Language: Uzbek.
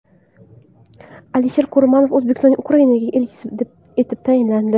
Alisher Kurmanov O‘zbekistonning Ukrainadagi elchisi etib tayinlandi.